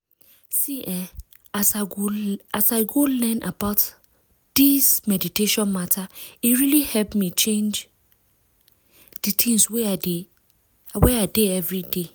see eeh as i go learn more about this meditation matter e really help me change di tins wey i dey everday.